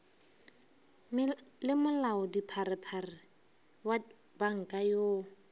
le molaodipharephare wa panka yoo